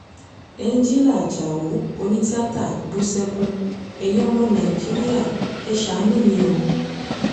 ẹnjilá ajáò onítìáta bú sẹ́kùn ẹ̀yìn ọmọ nàìjíríà ẹ̀ ṣàánú mi o